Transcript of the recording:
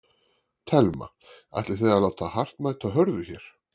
Telma: Ætlið þið að láta hart mæta hörðu hér?